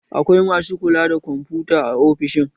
Akwai masu kula da kwamfuta a ofishin